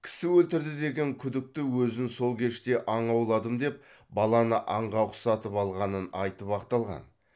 кісі өлтірді деген күдікті өзін сол кеште аң ауладым деп баланы аңға ұқсатып алғанын айтып ақталған